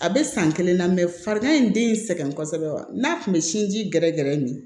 A bɛ san kelen na farigan in den sɛgɛn kosɛbɛ wa n'a kun bɛ sinji ji gɛrɛgɛrɛ nin